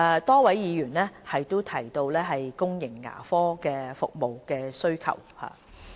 多位議員提到公營牙科服務的需求。